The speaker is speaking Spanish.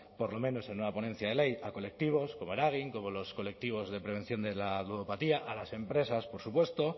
por lo menos en una ponencia de ley a colectivos como eragin como los colectivos de prevención de la ludopatía a las empresas por supuesto